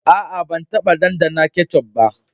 Aa, ban taba dandana ketchup ba.